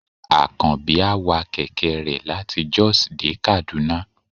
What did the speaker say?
akanbi a wà kẹkẹ re latí Jos dé Kaduna